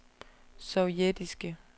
sovjetiske